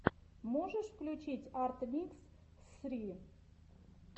можешь включить арт микс ссри